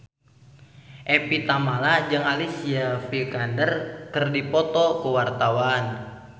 Evie Tamala jeung Alicia Vikander keur dipoto ku wartawan